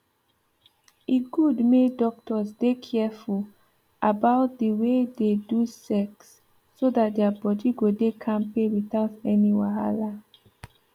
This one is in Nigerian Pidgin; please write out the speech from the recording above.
e good make doctors dey careful about the way they do sex so that their body go dey kampe without any wahala